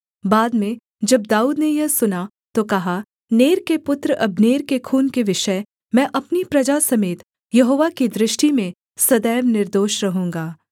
बाद में जब दाऊद ने यह सुना तो कहा नेर के पुत्र अब्नेर के खून के विषय मैं अपनी प्रजा समेत यहोवा की दृष्टि में सदैव निर्दोष रहूँगा